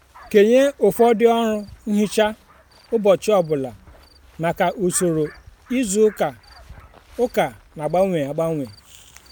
kenye ụfọdụ ọrụ nhicha ụbọchị ọ bụla maka usoro izu ụka ụka na-agbanwe agbanwe.